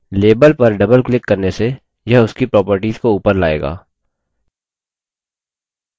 label पर double click करने से यह उसकी properties को ऊपर लाएगा